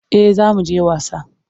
Eh za mu je wasa.